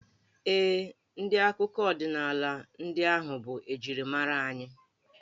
Ee, ndị akụkọ ọdịnaala ndị ahụ bụ njirimara anyị.